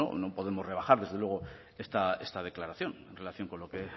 no no podemos rebajar desde luego esta declaración en relación con lo que